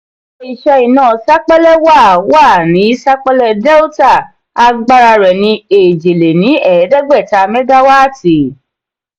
ilé-iṣẹ́ iná sapélé wà wà ní sapélé delita agbára rẹ́ ni eje-le-ni-eedegbeta megawaati.